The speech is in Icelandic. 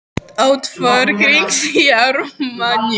Ástvar, hringdu í Ármanníu.